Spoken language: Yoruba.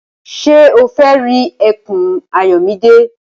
Ṣé o fẹ́ rí ẹkùn Ayọ̀mídé?